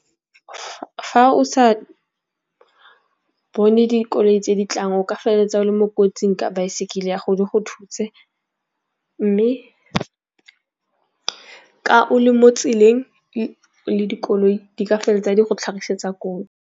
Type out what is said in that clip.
Fa o sa bone dikoloi tse di tlang o ka feleletsa o le mo kotsing ka baesekele ya go di go thutse. Mme ka o le mo tseleng le dikoloi di ka feleletsa di go tlhagisetsa kotsi.